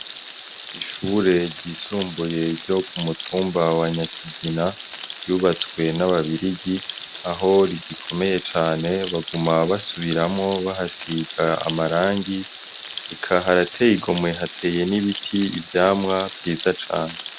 Ishure ryisumbuye ryo ku mutumba wa Nyakigina ryubatswe n'Ababirigi aho rigukomeye cane, baguma basubiramwo bahasiga amarangi, eka harateye igomwe hateye n'ibiti, ivyamwa vyiza cane.